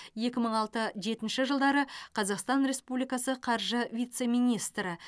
екі мың алты жетінші жылдары қазақстан республикасы қаржы вице министрі